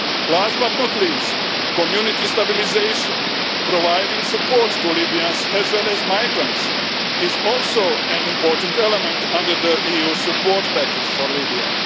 Last but not least community stabilisation, providing support to Libyans as well as migrants, is also an important element under the EU support package for Libya.